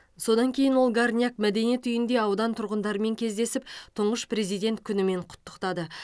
содан кейін ол горняк мәдениет үйінде аудан тұрғындарымен кездесіп тұңғыш президент күнімен құттықтады